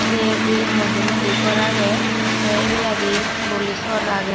se bi mojde mojde gor agey sey ebeladi horoli sor agey.